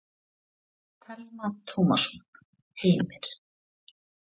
Telma Tómasson: Heimir?